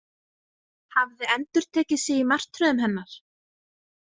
Hafði endurtekið sig í martröðum hennar?